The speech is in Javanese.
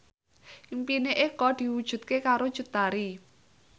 impine Eko diwujudke karo Cut Tari